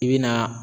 I bɛ na